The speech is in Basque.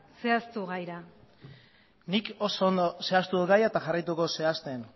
zehaztu gaira nik oso ondo zehaztu dut gaia eta jarraituko dut zehazten